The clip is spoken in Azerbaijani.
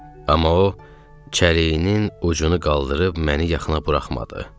Amma o çəliyinin ucunu qaldırıb məni yaxına buraxmadı.